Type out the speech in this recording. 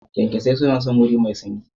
kyankyasai suna son wuri mai sanyi.